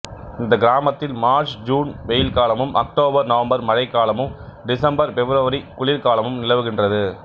இந்த கிராமத்தில் March June வெயில் காலமும் அக்டோபர் நவம்பர் மழை காலமும் டிசம்பர் பெப்ரவரி குளிர் காலமும் நிலவுகின்றது